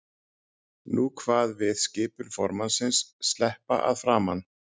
Nú kvað við skipun formannsins: Sleppa að framan!